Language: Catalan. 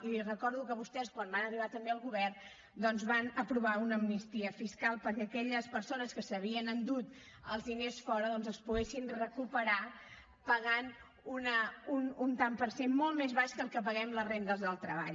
i li recordo que vostès quan van arribar també al govern doncs van aprovar una amnistia fiscal perquè aquelles persones que s’havien endut els diners fora doncs els poguessin recuperar pagant un tant per cent molt més baix que el que paguem les rendes del treball